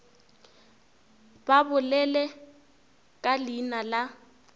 ba bolele ka leina la